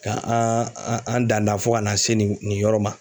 Ka an an dan dan fo ka na se nin nin yɔrɔ ma.